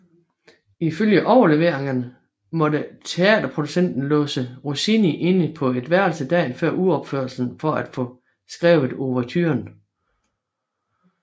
Ifølge overleveringen måtte teaterproducenten låse Rossini inde på et værelse dagen før uropførelsen for at få skrevet ouverturen